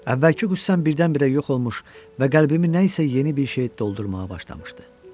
Əvvəlki qüssəm birdən-birə yox olmuş və qəlbimi nəyisə yeni bir şey doldurmağa başlamışdı.